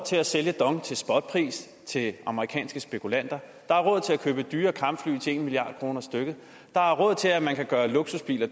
til at sælge dong til spotpris til amerikanske spekulanter der er råd til at købe dyre kampfly til en milliard kroner stykket der er råd til at man kan gøre luksusbiler